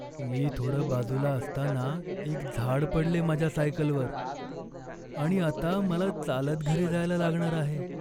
मी थोडं बाजूला असताना एक झाड पडले माझ्या सायकलवर, आणि आता मला चालत घरी जायला लागणार आहे.